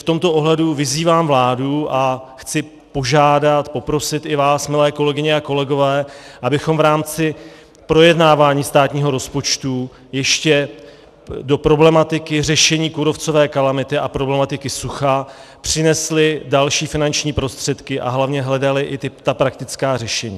V tomto ohledu vyzývám vládu a chci požádat, poprosit i vás, milé kolegyně a kolegové, abychom v rámci projednávání státního rozpočtu ještě do problematiky řešení kůrovcové kalamity a problematiky sucha přinesli další finanční prostředky a hlavně hledali i ta praktická řešení.